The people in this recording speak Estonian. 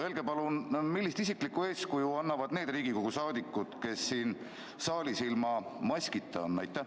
Öelge palun, millist isiklikku eeskuju annavad need Riigikogu liikmed, kes siin saalis ilma maskita on!